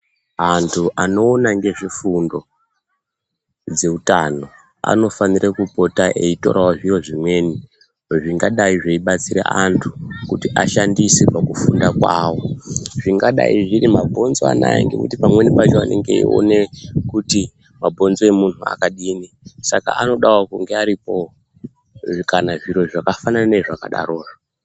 Antu anoona ngezvefundo dzeutano anofanire kupota eitorawo zviro zvimweni zvingadai zveibatsire antu kuti ashandise pakufunda kwavo, zvingadai zviri mabhonzo anaya ngekuti pamweni pacho anenge eione kuti mabhonzo emunhu akadini saka anodawo kunge aripowo kana zviro zvakafanana zvezvakadarozvo.